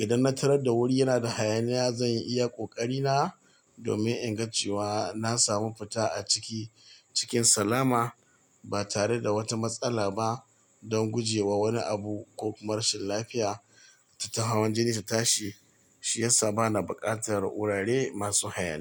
Idan na tarar da wuri yana da hayaniya, zan iya ƙoƙari na domin in ga cewa na samu fita a ciki cikin salama ba tare da wata matsala ba don guje wa wani abu ko kuma rashin lafiya ta hawan jini ta tashi, shiyasa bana buƙatar wurare masu hayaniya.